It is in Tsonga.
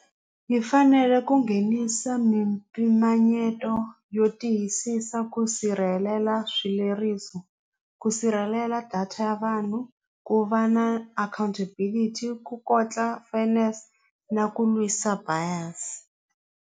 Hi fanele ku nghenisa mimpimanyeto yo tiyisisa ku sirhelela swileriso ku sirhelela data ya vanhu ku va na accountability ku kotla finance na ku lwisa buyers.